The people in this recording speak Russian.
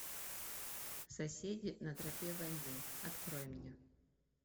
соседи на тропе войны открой мне